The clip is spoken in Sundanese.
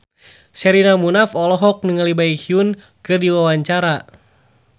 Sherina Munaf olohok ningali Baekhyun keur diwawancara